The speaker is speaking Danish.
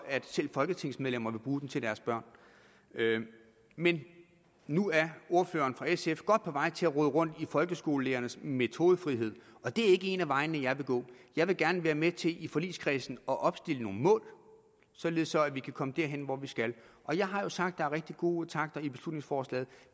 at selv folketingsmedlemmer vil bruge den til deres børn men nu er ordføreren for sf godt på vej til at rode rundt i folkeskolelærernes metodefrihed og det er ikke en af de veje jeg vil gå jeg vil gerne være med til i forligskredsen at opstille nogle mål således at vi kan komme derhen hvor vi skal jeg har jo sagt er rigtig gode takter i beslutningsforslaget